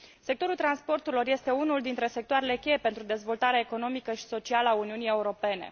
Sectorul transporturilor este unul dintre sectoarele cheie pentru dezvoltarea economică și socială a Uniunii Europene.